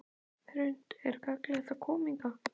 Hrund: Er gagnlegt að koma hingað?